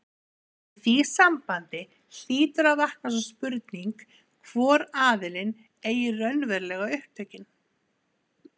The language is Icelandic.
Í því sambandi hlýtur að vakna sú spurning, hvor aðilinn eigi raunverulega upptökin.